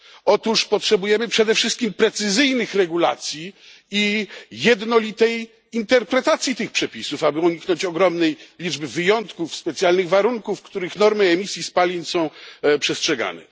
Otóż potrzebujemy przede wszystkim precyzyjnych regulacji i jednolitej interpretacji tych przepisów, aby uniknąć ogromnej liczby wyjątków, specjalnych warunków, w których normy emisji spalin są przestrzegane.